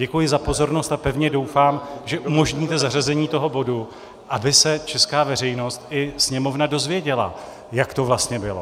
Děkuji za pozornost a pevně doufám, že umožníte zařazení toho bodu, aby se česká veřejnost i Sněmovna dozvěděla, jak to vlastně bylo.